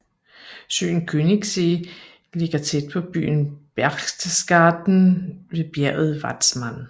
Søen Königssee ligger tæt på byen Berchtesgaden ved bjerget Watzmann